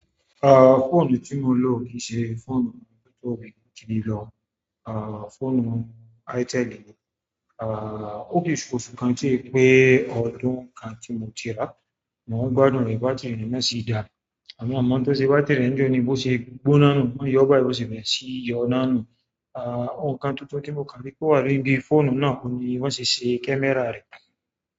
Ah, fóònù tí mo ń lò kìí ṣe fóònù tó ti di lọ, ah fóònù Itel ni, ah ó lè se oṣù káǹ tì o pé ọdún kan tí mo ti rà, mò ń gbádùn rẹ̀, bátìrì rẹ̀ náà sì dáa, àmo mo mọ̀ n to se é bátìrì rẹ̀ ńi jo ní bó ṣe gbóná nù, wọ́n yóò báyi bo ṣe bẹ̀rẹ̀ sí yọ náà nu, ah òǹkà tuntun tí mo kà ri pe owà níbi fóònù náà oun ni bi wọ́n se ṣe camera rẹ̀.